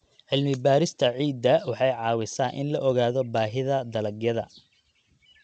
Cilmi-baarista ciidda waxay caawisaa in la ogaado baahida dalagyada.